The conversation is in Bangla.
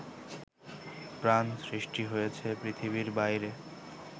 প্রাণ সৃষ্টি হয়েছে পৃথিবীর বাইরে